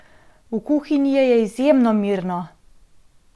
V kuhinji je izjemno mirno!